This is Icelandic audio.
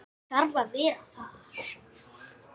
Ég þarf að vera þar.